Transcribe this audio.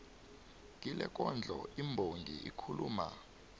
kilekondlo imbongi ikhuluma